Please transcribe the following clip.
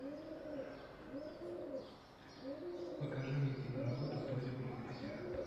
покажи мне киноработу тоня против всех